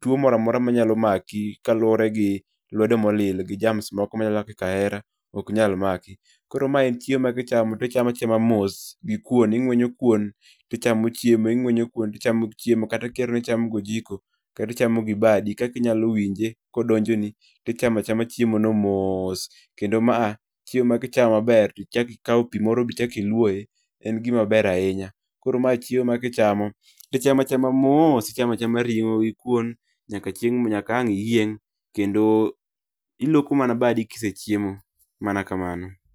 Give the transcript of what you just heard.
tuo moro amora ma nyalo maki kaluore gi lwedo molil gi germs moko machalo kaka kahera ok nyal maki. Koro ma en chiemo ma ka ichamo tichame achama mos gi kuon, ing'wenyo kuon tichamo chiemo, ing'wenyo kuon tichamo chiemo, kata ka ihero ni ichamo gi ojiko kata ichamo gi badi kaka inyalo winje ka odonjoni, tichamo achama chiemono moos kendo maa chiemo ma ka ichamo maber to ichako ikao pi moro ma ichak iluoe, en gima ber ahinya. Koro mae chiemo ma ka ichamo, tichame achama mos, ichama chama ring'o gi kuon nyaka chieng' nyaka ang' iyieng' kendo iluoko mana badi ka isechiemo. Mana kamano.